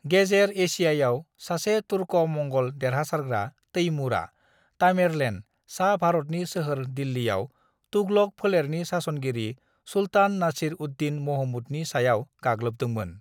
"गेजेर एशियायाव सासे तुर्क-मंगल देरहासारग्रा, तैमूरआ (तामेरलेन) सा-भारतनि सोहोर दिल्लीआव तुगलक फोलेरनि सासनगिरि सुल्तान नासिर-उद-दीन महमूदनि सायाव गाग्लोबदोंमोन।"